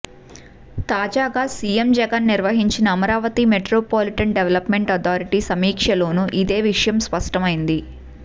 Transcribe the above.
తాజాగా సీఎం జగన్ నిర్వహించిన Amaravati metropolitan development authority సమీక్షలోనూ ఇదే విషయం స్పష్టమైంది